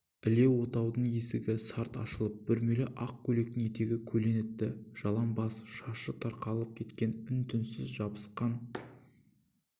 іле отаудың есігі сарт ашылып бүрмелі ақ көйлектің етегі көлең етті жалаң бас шашы тарқатылып кеткен үн-түнсіз жабысқан